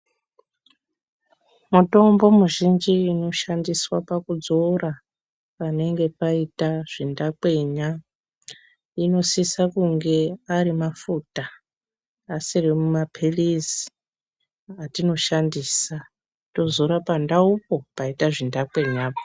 Mutombo muzhinji inoshandiswa pakudzora panenge paita zvindakwenya inosisa kunge ari mafuta asiri mapilizi atinoshandisa tozora pandaupo paite zvindakwenya.